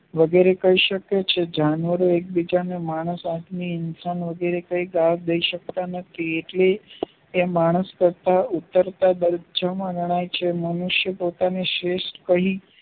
વગેરે કહી શકે છે જાણવારે એકબીજાની એકબીજાની માણસ વિચાર વગેરે કે ગાલ ડે સકતા નથી એટલે એ માણસ કરતા ઉતરતા દરજા મા ગણાય છે મનુષ્ય પોતાને શ્રેષ્ઠ કહી